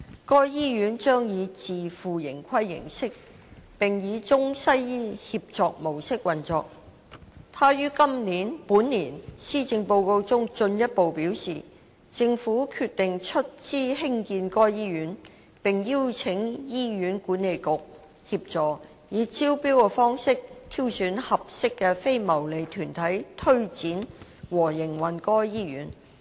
該醫院將以自負盈虧形式，並以中西醫協作模式運作。他於本年《施政報告》中進一步表示，政府決定出資興建該醫院，並邀請醫院管理局協助，以招標方式挑選合適的非牟利團體推展和營運該醫院。